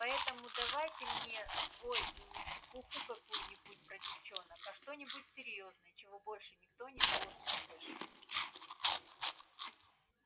поэтому давай ты мне свой и не чепуху какую-нибудь про девчонок а что-нибудь серьёзное чего больше никто не должен услышать